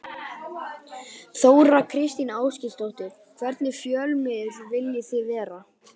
Þóra Kristín Ásgeirsdóttir: Hvernig fjölmiðill viljið þið vera?